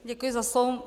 Děkuji za slovo.